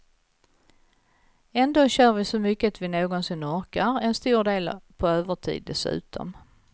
Ändå kör vi så mycket vi någonsin orkar, en stor del på övertid dessutom.